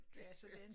Det skørt